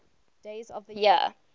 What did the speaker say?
days of the year